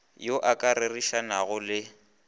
yo o ka rerišanago le